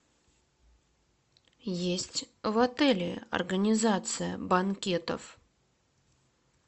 есть в отеле организация банкетов